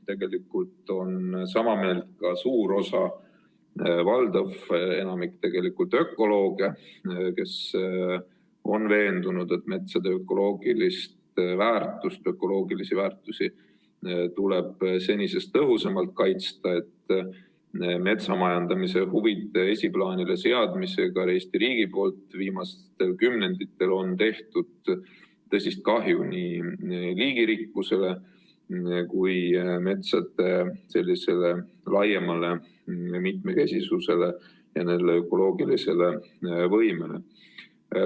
Tegelikult on sama meelt ka valdav osa ökolooge, kes on veendunud, et metsade ökoloogilisi väärtusi tuleb senisest tõhusamalt kaitsta ning et metsamajandamise huvide esiplaanile seadmisega Eesti riigi poolt viimastel kümnenditel on tehtud tõsist kahju nii liigirikkusele kui ka metsade laiemale mitmekesisusele ja nende ökoloogilisele võimele.